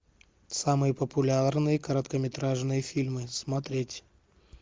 самые популярные короткометражные фильмы смотреть